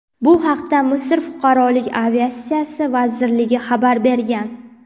Bu haqda Misr fuqarolik aviatsiyasi vazirligi xabar bergan .